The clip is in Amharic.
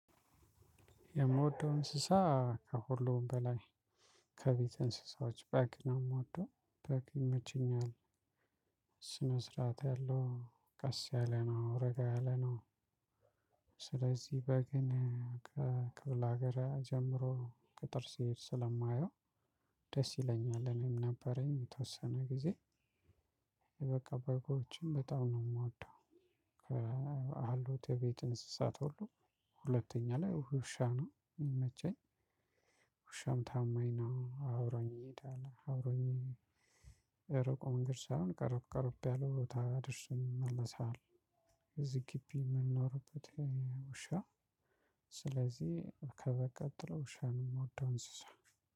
የምወደው እንስሳ ከሁሉም በላይ ከቤት እንስሳዎች በግ ነው አምወደው በግ ይመቸኛል። ስነ ስርዓት ያለው ቀስ ያለ ነው ረጋ ያለ ነው። ስለዚህ በግን ከክፍለ ሀገር ጀምሮ ገጠር ሲሄድ ስለማየው ደስ ይለኛል። እኔም ነበረኝ የተወሰነ ጊዜ። በቃ በጎችም በጣም ነው የምወደው። አሉት የቤት እንስሳት ሁሉ ሁለተኛ ላይ ውሻ ነው የሚቸኝ። ውሻም ታማኝ ነው አብሮኝ ይሄዳል አብሮኝ እሩቅ መንገድ ሳሆን ቀርብ ቀርብ ያለ ቦታ አድርሰኝ ይመለሳል። እዚህ ግቢ የምንኖርበት። ውሻ ስለዚህ ከበቀጠለው ውሻ ነው የምወደው እንስሳ።